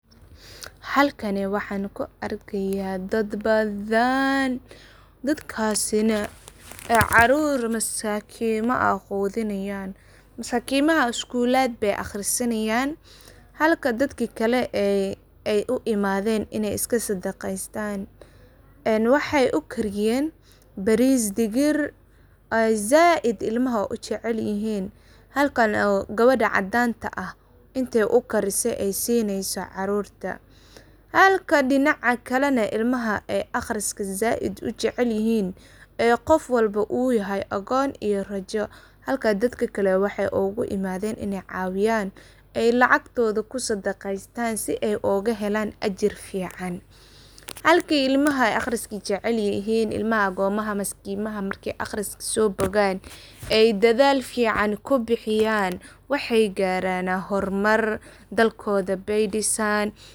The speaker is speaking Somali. Halkani waxaa ku argaya dad bathan dadakasinah ee carur masakima AA quthinayan mise maskimaha skulaat ba aqharisatan, Halka dadkali ee ay u imathen inay iskasadaqeysatan ee waxay u kariyeen baris digir aay saait ilmaha u jaceelyahin, halkani kabarta cadanda aah inta u galisoh ay sineyoh carurta Halka dinca Kali ilmaha ee aqhariska saait u jaceelyahin ee Qoof walba oo yahay agoon iyo rajo, Halka dadkali waxay ugu imathen inay cawiyaan iyo lacagtotha kusadaqeysatan si ay ugahelan ajir fican halki ilmaha aqhariska jacelayahin imlaha agooma maskimaha marki aqhariska sobogaan ay dathal fican kubixiyan waxay garanah hormar dadkotha baydisaan.